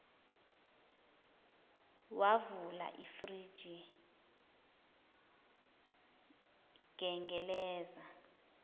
wavula ifriji gengelezi